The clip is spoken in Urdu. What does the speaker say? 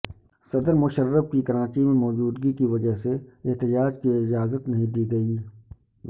صدر مشرف کی کراچی میں موجودگی کی وجہ سے احجاج کی اجازت نہیں دی گئی